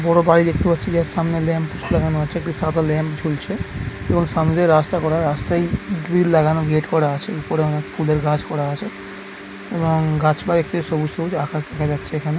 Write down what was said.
বড়ো বাড়ি দেখতে পাচ্ছি। যার সামনে লেম পোস্ট লাগানো আছে। একটি সার্কল লেম ঝুলছে এবং সামনে দিয়ে রাস্তা করা। রাস্তায় গ্রিল লাগানো গেট করা আছে। উপরে অনেক ফুলের গাছ করা আছে এবং গাছপালা দেখতে সবুজ সবুজ। আকাশ দেখা যাচ্ছে এখানে।